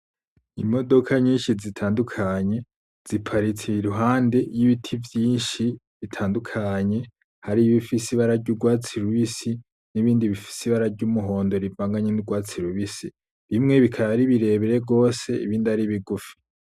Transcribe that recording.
Imodoka nyinshi bitandukanye ziparitse iruhande y'ibiti vyinshi bitandukanye. Hariho ibifise ibara ry'urwatsi rubisi n'ibindi bifise ibara ry'umuhondo rivanganye n'urwatsi rubisi. Bimwe bikaba ari birebire gose ibindi ari bigufi.